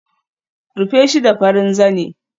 Rufe shi da farin zane